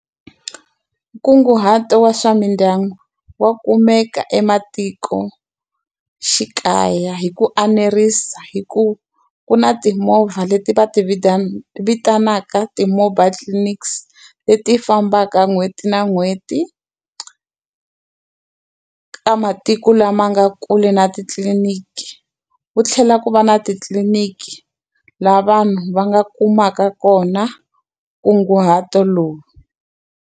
Nkunguhato wa swa mindyangu wa kumeka ematikoxikaya hi ku a nerisa, hikuva ku na timovha leti va ti vita vitanaka ti-mobile clinics leti fambaka n'hweti na n'hweti ka matiko lama nga kule na titliliniki. Ku tlhela ku va na titliliniki laha vanhu va nga kumaka kona nkunguhato lowu.